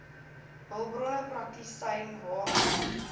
hulpbronne praktisyn hr